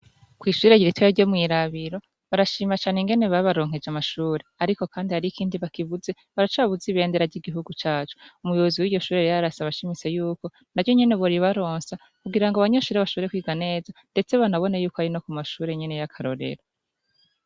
Kw'ishure ritoya ryo mwirabiro barashima cane ingene babaronkeje amashure ariko kandi harih'ikindi bakibuze; baracabuze ibendera ry'Igihugu cacu. Umuyobozi w'iryoshure rero arasaba ashimitse yuko naryo nyene boribarosa kugira abanyeshure bashobore kwiga neza ndetse banabone yukwari na kumashure nyene yakarorero.